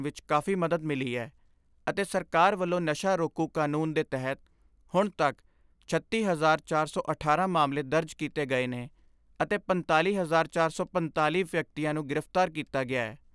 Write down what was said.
ਵਿਚ ਕਾਫ਼ੀ ਮਦਦ ਮਿਲੀ ਐ ਅਤੇ ਸਰਕਾਰ ਵੱਲੋਂ ਨਸ਼ਾ ਰੋਕੂ ਕਾਨੂੰਨ ਦੇ ਤਹਿਤ ਹੁਣ ਤੱਕ ਛੱਤੀ ਹਜ਼ਾਰ ਚਾਰ ਸੌ ਅਠਾਰਾਂ ਮਾਮਲੇ ਦਰਜ ਕੀਤੇ ਗਏ ਨੇ ਅਤੇ ਪੰਤਾਲੀ ਹਜ਼ਾਰ ਚਾਰ ਸੌ ਪੰਤਾਲੀ ਵਿਅਕਤੀਆਂ ਨੂੰ ਗ੍ਰਿਫ਼ਤਾਰ ਕੀਤਾ ਗਿਐ।